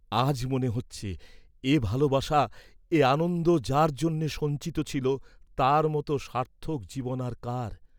আজ মনে হচ্ছে, এ ভালবাসা এ আনন্দ যার জন্যে সঞ্চিত ছিল তার মত সার্থক জীবন আর কার!